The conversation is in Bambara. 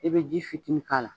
E bɛ ji fitini k'a la.